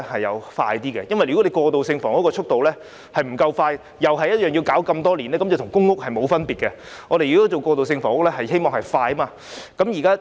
如果供應過渡性房屋的速度不夠快，又是要等很多年的話，那便與公屋沒有分別，過渡性房屋的供應是必須快的。